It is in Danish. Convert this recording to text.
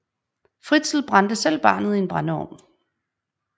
Fritzl brændte selv barnet i en brændeovn